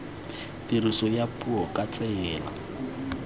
tiriso ya puo ka tsela